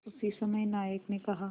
उसी समय नायक ने कहा